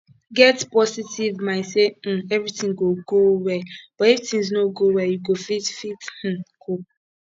get positive mind sey um everything go go well but if thing no go well you go fit fit um cope